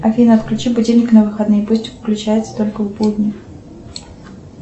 афина отключи будильник на выходные пусть включается только в будни